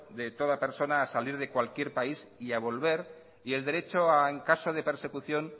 de toda persona a salir de cualquier país y a volver y el derecho a en caso de persecución